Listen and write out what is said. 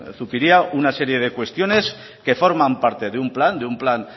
zupiria una serie de cuestiones que forman parte de un plan de un plan